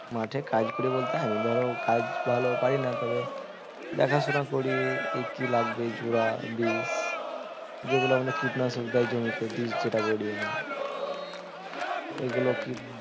মাঠে কাজ করি বলতে আমি ধরো কাজ ভালো পারি না তবে দেখাশোনা করি এ কি লাগবে জোরা বিষ যেগুলো আমাদের কীটনাশক দেয় জমিতে বিষ যেটা বলি আমরা এগুলো